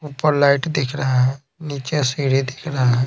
ऊपर लाइट दिख रहे है नीचे सीढ़ी दिख रहा है।